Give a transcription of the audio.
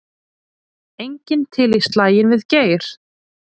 Enginn til í slaginn við Geir